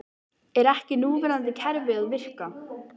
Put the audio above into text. Er ekki núverandi kerfi að virka?